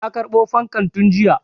Na karɓo fankan tun jiya.